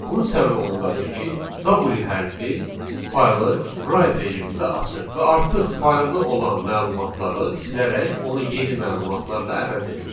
Bunun səbəbi ondadır ki, w hərfi faylı write rejimində açır və artıq faylda olan məlumatları silərək onu yeni məlumatlarla əvəz edir.